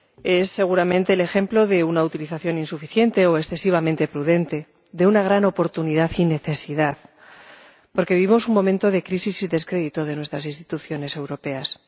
Es, seguramente, el ejemplo de una utilización insuficiente o excesivamente prudente, de una gran oportunidad y necesidad, porque vivimos un momento de crisis y descrédito de nuestras instituciones europeas.